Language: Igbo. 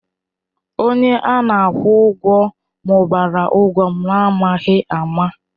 Onye a na-akwụ ụgwọ mụbara ụgwọ m n'amaghị ama.